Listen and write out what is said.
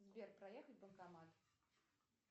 сбер проехать банкомат